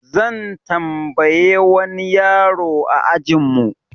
Zan tambaye wani yaro a ajin mu.